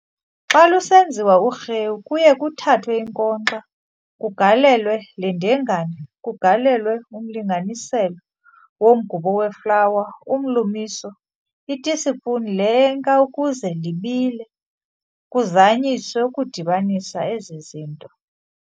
Xa lusenziwa urhewu, kuye kuthathwe inkonxa, kugalelwe lendengane, kugalelwe umlinganiselo womgubo weflawa, umlumiso, itispuni le enka ukuze libile, kuzanyiswe ukudibanisa ezizinto.